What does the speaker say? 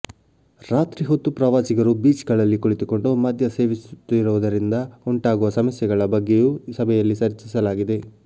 ರಾತ್ರಿ ಹೊತ್ತು ಪ್ರವಾಸಿಗರು ಬೀಚ್ ಗಳಲ್ಲಿ ಕುಳಿತುಕೊಂಡು ಮದ್ಯ ಸೇವಿಸುತ್ತಿರುವುದರಿಂದ ಉಂಟಾಗುವ ಸಮಸ್ಯೆಗಳ ಬಗ್ಗೆಯೂ ಸಭೆಯಲ್ಲಿ ಚರ್ಚಿಸಲಾಗಿದೆ